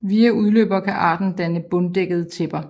Via udløbere kan arten danne bunddækkende tæpper